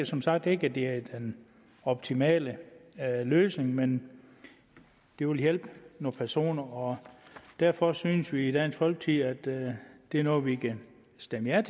som sagt ikke at det er den optimale løsning men det vil hjælpe nogle personer derfor synes vi i dansk folkeparti at det er noget vi kan stemme ja